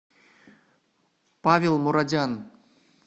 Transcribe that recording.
павел мурадян